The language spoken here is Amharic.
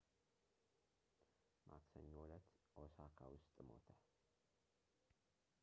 ማክሰኞ እለት ኦሳካ ውስጥ ሞተ